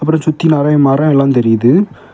இதை சுத்தி நிறைய மரோ எல்லா தெரியுது.